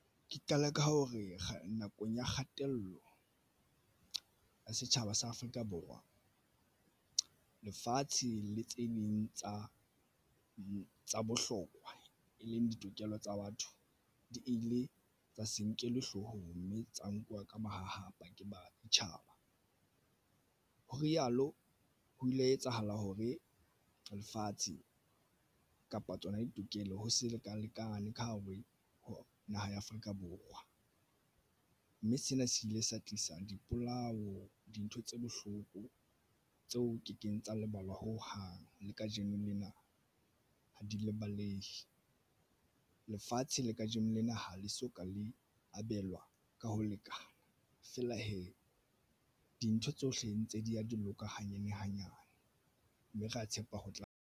Ke qala ka hore nakong ya kgatello ya setjhaba sa Afrika Borwa lefatshe le tse ding tsa bohlokwa e leng ditokelo tsa batho di ile tsa se nkelwe hloohong mme tsa nkuwa ka mahahapa ke baditjhaba, ho rialo ho ile ha etsahala hore lefatshe kapa tsona ditokelo ho se leka lekane ka hare ho naha ya Afrika Borwa mme sena se ile sa tlisa dipolao dintho tse bohloko tseo ke keng tsa lebala ho hang le kajeno lena ha di lebaleha lefatshe le kajeno lena ho le soka le abelwa ka ho lekana feela hee dintho tsohle ntse di ya di loka hanyane hanyane, mme ra tshepa ho tla.